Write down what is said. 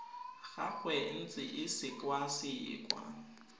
gagwe e ntse e sekwasekwa